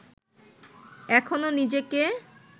এখনও নিজেকে